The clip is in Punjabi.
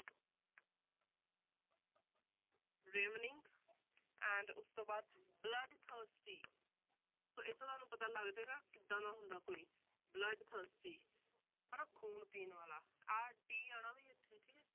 Ravening and ਉਸ ਤੋਂ ਬਾਅਦ bloodthirsty ਸੋ ਇੱਥੇ ਤੁਹਾਨੂੰ ਪਤਾ ਲੱਗ ਜਾਏਗਾ ਕਿੱਦਾਂ ਦਾ ਹੁੰਦਾ ਕੋਈ bloodthirsty ਹਨਾ ਖੂਨ ਪੀਣ ਵਾਲਾ ਆਹ t ਆਉਣਾ ਵੀ ਇੱਥੇ ਠੀਕ ਹੈ।